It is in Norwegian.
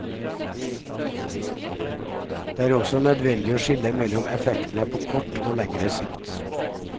Det er også nødvendig å skille mellom effektene på kort og lengre sikt.